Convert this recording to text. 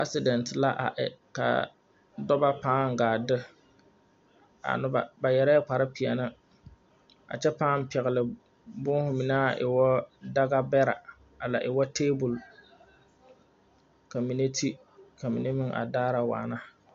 Asedɛnte la a e ka dɔba pãã gaa de a noba ba yɛre la kparrepeɛne a kyɛ pãã pɛgle boohu mine aŋ e wu dagebɛrɛ a la e wu tabol kyɛ ka mine te ka mine daara waana.